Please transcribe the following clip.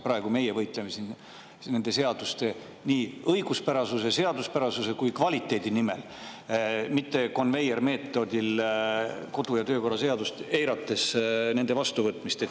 Praegu me võitleme siin nii seaduste õiguspärasuse, seaduspärasuse kui ka kvaliteedi nimel, mitte selle nimel, et konveiermeetodil ja kodu- ja töökorra seadust eirates neid vastu võtta.